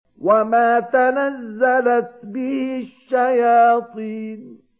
وَمَا تَنَزَّلَتْ بِهِ الشَّيَاطِينُ